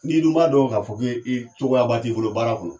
N'i dun b'a dɔn ka fɔ ko cogoya ba t'i bolo baara kun